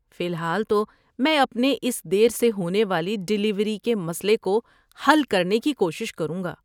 فی الحال تو میں اپنے اس دیر سے ہونے والی ڈلیوری کے مسئلے کو حل کرنے کی کوشش کروں گا۔